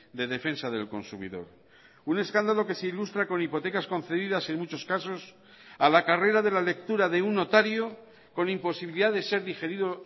de defensa del consumidor un escándalo que se ilustra con hipotecas concedidas en muchos casos a la carrera de la lectura de un notario con imposibilidad de ser digerido